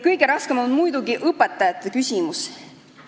Kõige raskem on muidugi õpetajate küsimus.